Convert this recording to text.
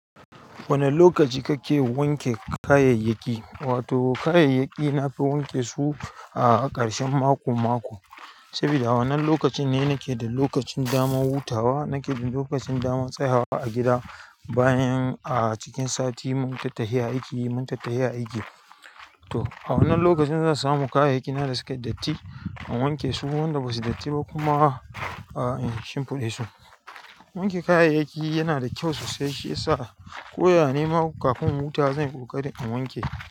Wane lokaci kake wanke kayayyaki? Wato kayayyaki na fi wanke su a ƙarshen mako-mako. Sabuda wannan lokaci ne nake da lokacin daman wutawa, nake da lokacin daman tsayawa a gida bayan a cikin sati mun tattahi aiki, mun tattahi aiki. To a wannan lokacin zan samu kayayyaki na da suka datti in wanke su, wanda ba su datti ba kuma a in shimfiɗa su. Wanke kayayyaki yana da kyau sosai, shi ya sa ko ya nema ma kafin in wuta zan yi ƙoƙari in wanke.